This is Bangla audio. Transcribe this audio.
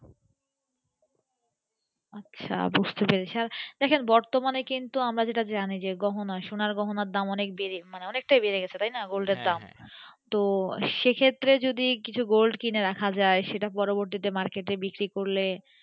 আচ্ছা বুজতে পেরেছি আর বর্তমানে কিন্তু আমরা যেহেতু জানি যে গহনে সোনার গহনা দাম অনেক বেড়ে মানে অনেকটাই বেড়ে গাছে তাই না হ্যাঁ হ্যাঁ Gold এর দাম তো সে ক্ষেত্রে যদি কিছু golf কিনে রাখা যাই সেটা পরবর্তীতে market বিক্রি করলে।